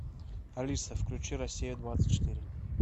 алиса включи россия двадцать четыре